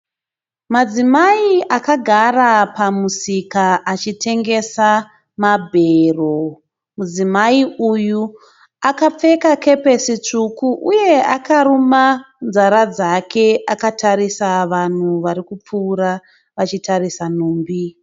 Madzimai akagara pamusika achitengesa mabhero. Mudzimai uyu akapfeka kepesi tsvuku uye akaruma nzara dzake akatarisa vanhu varikupfuura vachitarisa nhumbi .